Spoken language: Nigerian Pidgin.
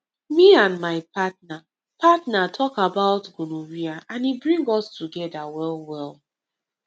me and my partner partner talk about gonorrhea and e bring us together well well